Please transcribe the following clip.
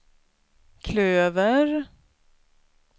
klöver